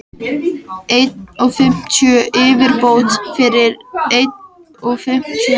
einn og fimmtíu yfirbót fyrir einn og fimmtíu.